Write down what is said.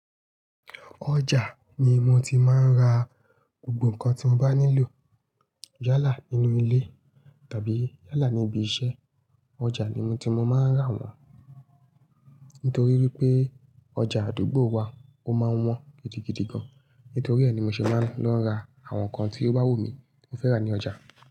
Ọjà ni mo ti máa ń ra gbogbo nǹkan tí mo bá nílò. Yálà nínú ilé tàbí yálà ní ibi iṣẹ́, ọjà ni mí tí mo máa ń rà wọ́n. Nítorí wípé ọjà àdúgbò wa ó máa ń wọ́n gidigidi gan. Nítorí ẹ ní mo ṣe máa ń lọ ra àwọn nǹkan tí ó bá wù mí tí mo fẹ́ rà ní ọjà.